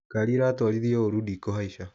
Ngari ĩratuarithio wũru ndikũhaica